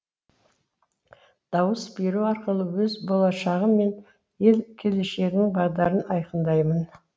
дауыс беру арқылы өз болашағым мен ел келешегінің бағдарын айқындаймын